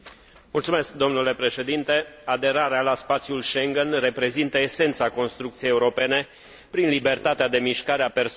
Aderarea la spațiul Schengen reprezintă esența construcției europene, prin libertatea de mișcare a persoanelor și, implicit, a mărfurilor.